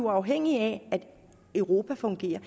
afhængige af at europa fungerer